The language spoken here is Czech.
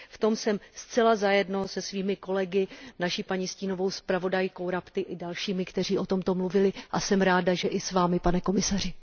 V tom jsem zcela za jedno se svými kolegy, naší paní stínovou zpravodajkou Rapti i dalšími, kteří o tomto mluvili, a jsem ráda, že i s vámi, pane komisaři.